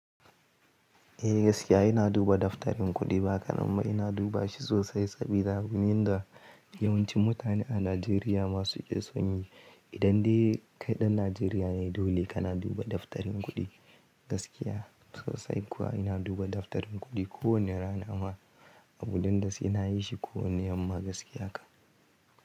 Eh gaskiya ina duba daftarin kuɗi ba ka ɗan ba ina duba shi sosai sabida gunin da yawanci mutane a Najeriya masu son yi. Idan dai kaiɗan Najeriya yayi dole kana duba daftarin kuɗi gaskiya. Sosai kuwa ina duba daftarin kuɗi kowane rana ma a gudun dasu ina yi shi kowane yamma gaskiya ka.